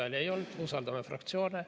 Vastuhääli ei olnud, usaldame fraktsioone.